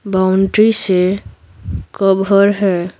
Boundary से cover है।